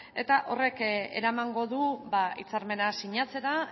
eta horrek eramango du hitzarmena sinatzera